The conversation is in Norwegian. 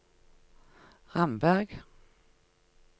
Ramberg